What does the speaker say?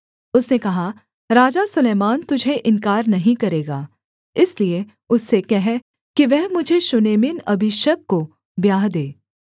उसने कहा राजा सुलैमान तुझे इन्कार नहीं करेगा इसलिए उससे कह कि वह मुझे शूनेमिन अबीशग को ब्याह दे